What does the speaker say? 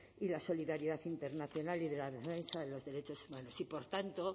y la solidaridad internacional y de la defensa de los derechos humanos y por tanto